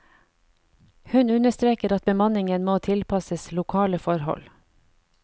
Hun understreker at bemanningen må tilpasses lokale forhold.